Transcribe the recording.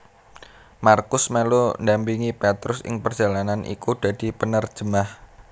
Markus melu ndampingi Petrus ing perjalanan iku dadi penerjemah